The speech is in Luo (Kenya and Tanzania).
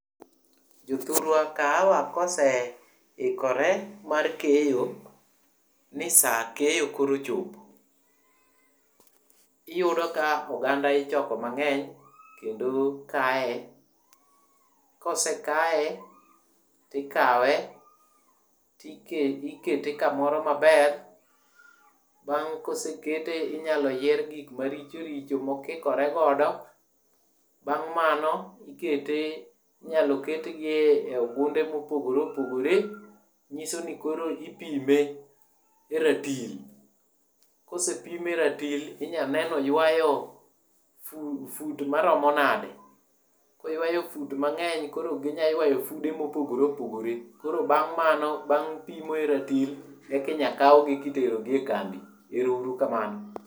Jothurwa kaawa koseikore mar keyo, ni saa keyo koro ochopo, iyudo ka oganda ichoko mang'eny kendo kae. Kose kae, tikawe tike ikete kamoro maber, bang' kosekete inyalo yier gik marichoricho mokikore godo, bang' mano, ikete inyalo ketgie e ogunde mopogore opogore, nyiso ni koro ipime e ratil. Kose pime e ratil inyane noywayo fu fut maromo nade. Koywayo fut mang'eny koro ginyaywayo fude mopogore opogore. Koro bang' mano bang' pimo e ratil, ekinya kaugi kiterogi e kambi. Erourukamano.